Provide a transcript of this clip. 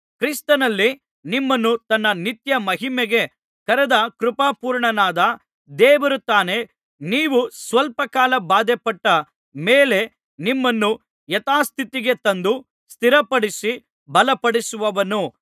ಕ್ರಿಸ್ತನಲ್ಲಿ ನಿಮ್ಮನ್ನು ತನ್ನ ನಿತ್ಯ ಮಹಿಮೆಗೆ ಕರೆದ ಕೃಪಾಪೂರ್ಣನಾದ ದೇವರು ತಾನೇ ನೀವು ಸ್ವಲ್ಪ ಕಾಲ ಬಾಧೆಪಟ್ಟ ಮೇಲೆ ನಿಮ್ಮನ್ನು ಯಥಾಸ್ಥಿತಿಗೆ ತಂದು ಸ್ಥಿರಪಡಿಸಿ ಬಲಪಡಿಸುವನು